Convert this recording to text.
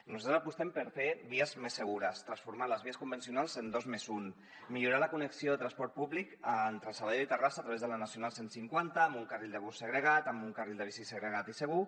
nosaltres apostem per fer vies més segures transformar les vies convencionals en dos més un millorar la connexió de transport públic entre sabadell i terrassa a través de la nacional cent i cinquanta amb un carril de bus segregat amb un carril de bici segregat i segur